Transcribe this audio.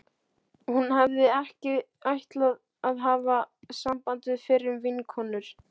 Hún hafði ekki ætlað að hafa samband við fyrrum vinkonur